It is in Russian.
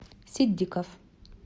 ситдиков